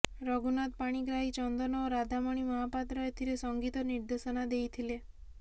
ରଘୁନାଥ ପାଣିଗ୍ରାହୀ ଚନ୍ଦନ ଓ ରାଧାମଣି ମହାପାତ୍ର ଏଥିରେ ସଙ୍ଗୀତ ନିର୍ଦ୍ଦେଶନା ଦେଇଥିଲେ